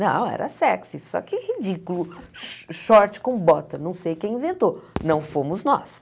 Não, era sexy, só que ridículo, short com bota, não sei quem inventou, não fomos nós.